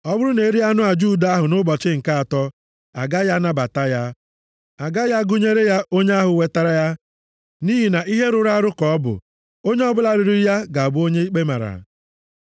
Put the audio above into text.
Ọ bụrụ na e rie anụ aja udo ahụ nʼụbọchị nke atọ, a gaghị anabata ya. A gaghị agụnyere ya onye ahụ wetara ya nʼihi na ihe rụrụ arụ ka ọ bụ. Onye ọbụla riri ya ga-abụ onye ikpe mara.